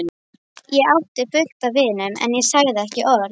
Ég átti fullt af vinum, en ég sagði ekki orð.